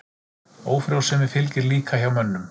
Ófrjósemi fylgir líka hjá mönnum.